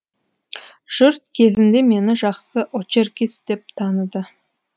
жұрт кезінде мені жақсы очеркист деп таныды